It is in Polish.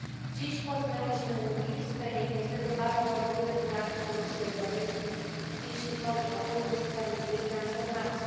Dziś poznaliśmy mgliste i niestety bardzo ogólne plany Komisji Europejskiej, jeśli chodzi o fundusz sprawiedliwej transformacji.